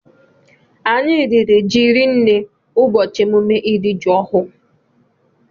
Anyị riri jị rinne ụbọchị emume ịri jị ọhụụ